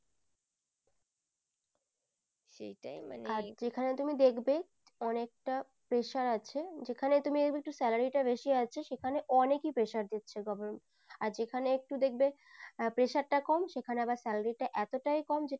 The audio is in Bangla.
অনেকটা pressure আছে যেখানে তুমি দেখবে একটু salary টা একটু বেশি আছে সেখানে অনেকেই pressure দিচ্ছে government আর যেখানে একটু দেখবে pressure টা কম সেখানে আবার salary টা এতটাই কম যে